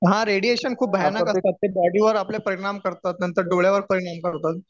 हा रेडिएशन खूप भयानक असतात बॉडी वर आपल्या परिणाम करतात नंतर डोळ्यावर परिणाम करतात